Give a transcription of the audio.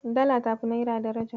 Dala tafi Naira daraja.